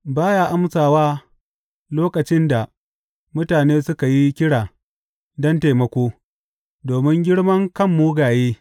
Ba ya amsawa lokacin da mutane suka yi kira don taimako domin girman kan mugaye.